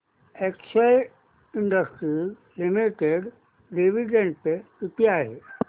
Excel industries limited dividend pay किती आहे